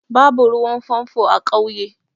Babu ruwan famfo a ƙauye.